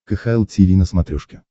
кхл тиви на смотрешке